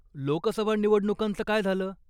लोकसभा निवडणुकांचं काय झालं?